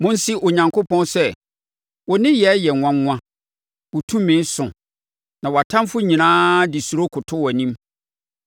Monse Onyankopɔn sɛ, “Wo nneyɛɛ yɛ nwanwa wo tumi so na wʼatamfoɔ nyinaa de suro koto wʼanim.